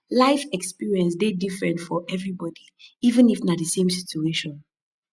life experience de dey different for everybody even if na the same situation